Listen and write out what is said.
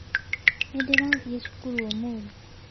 Nĩ ndĩrathiĩ cukuru ũmũthĩ.